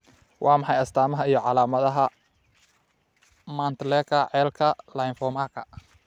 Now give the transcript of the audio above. Waa maxay astamaha iyo calaamadaha Mantleka cellka lymphomaka?